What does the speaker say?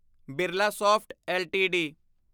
Birlasoft LTD